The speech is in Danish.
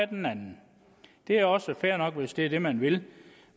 den anden det er også fair nok hvis det er det man vil